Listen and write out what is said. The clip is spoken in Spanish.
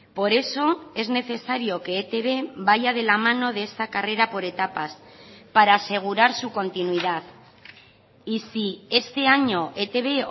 por eso es necesario que etb vaya de la mano de esta carrera por etapas para asegurar su continuidad y si este año etb